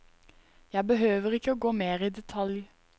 Jeg behøver ikke å gå mer i detalj.